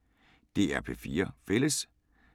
DR P4 Fælles